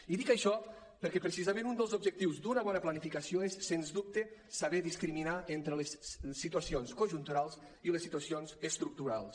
i dic això perquè precisament un dels objectius d’una bona planificació és sens dubte saber discriminar entre les situacions conjunturals i les situacions estructurals